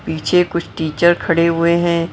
पीछे कुछ टीचर खड़े हुए हैं ।